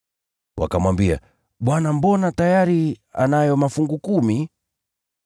“Wakamwambia, ‘Bwana, mbona; tayari anayo mafungu kumi!’